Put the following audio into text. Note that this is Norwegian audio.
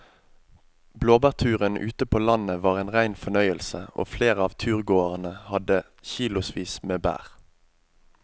Blåbærturen ute på landet var en rein fornøyelse og flere av turgåerene hadde kilosvis med bær.